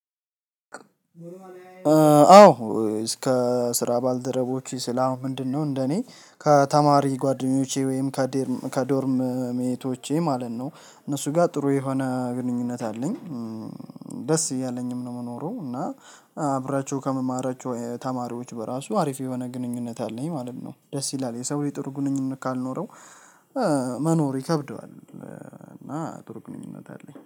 አዎ እስከ ስራ ባልደረቦቹ ሲል አሁን ምንድነው እንደኔ ከተማሪ ጓደኞቼ ወይም ከዶርም ሜቶቼ ማለት ነው እነሱ ጋር ጥሩ የሆነ ግንኙነት አለኝ። ደስ እያለኝም ነው የምኖረው እና አብሪያቼ ው ከምማራቸው ተማሪዎች በራሱ አሪፍ የሆነ ግንኙነት አለኝ ማለት ነው። ደስ ይላል የሰው ልጅ ጥሩ ግንኙነት ካልኖረው። መኖር ይከብደዋል እና ጡሩ ግንኙነት አለኝ